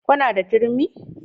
Kuna da turmi?